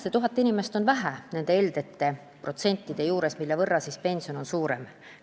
See tuhat inimest on vähe nende heldete protsentide juures, mille võrra pension võiks suurem olla.